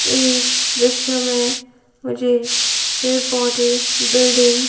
इस दृश्य मे मुझे पेड़ पौधे बिल्डिंग --